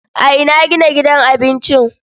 A ina gina gidan abincin?